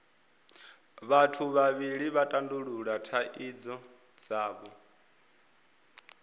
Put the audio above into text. vhathu vhavhili vha tandulula thaidzo dzavho